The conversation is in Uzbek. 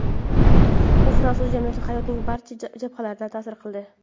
U fransuz jamiyati hayotining barcha jabhalariga ta’sir qildi.